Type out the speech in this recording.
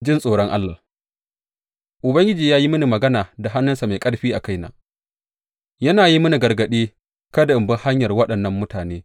Ji tsoron Allah Ubangiji ya yi mini magana da hannunsa mai ƙarfi a kaina, yana yi mini gargaɗi kada in bi hanyar waɗannan mutane.